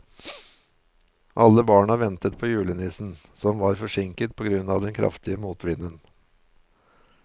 Alle barna ventet på julenissen, som var forsinket på grunn av den kraftige motvinden.